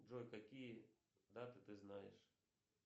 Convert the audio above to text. джой какие даты ты знаешь